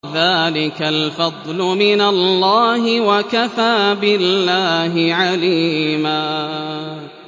ذَٰلِكَ الْفَضْلُ مِنَ اللَّهِ ۚ وَكَفَىٰ بِاللَّهِ عَلِيمًا